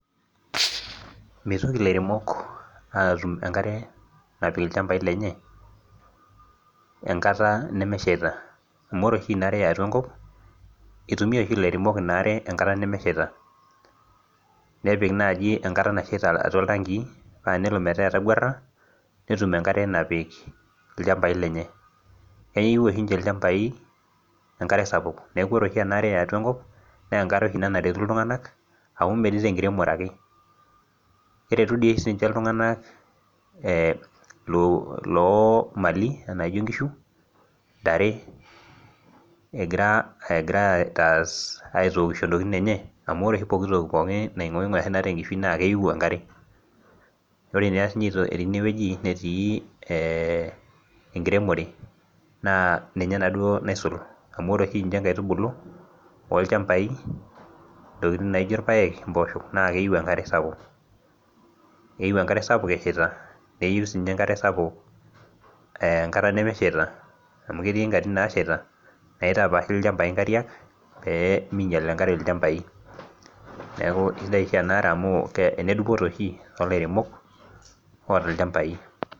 Mitoki lairenok atum enkare napik ilchambai lenye enkata nemeshaita amu ore oshi ena are yatua enkop kitumiai oshi lairenok enkata nemeshaita nepika naaji enkata nashaita atua iltangii naa tenelo meeta etaguara netum enkare napik ilchambai lenye keyieu Osho ninje ilchambai enkare sapuk neeku ore enkare yatua enkop naa enkare oshi naretu iltung'ana neme tenkiremore ake keretu doi sininye iltung'ana oo Mali naijio nkishu ntare egira aitaas egira aitoki ore oshi poki toki naa keyieu enkare ore sininye tenewueji netii we enkiremore naa ninye duo oshi naisul amu ore oshi ninje nkaitubulu ilchambai naijio irpaek mboshok naa keyieu enkare sapuk eshaita neyieu sii enkare sapuk enkata nemeshaita amu ketii nkatitin nashaita naitapashii nkariak ilchambai pee minyial enkare ilchambai neeku kaisidai enare amu enedupoto oshi too lairemok otaa ilchambai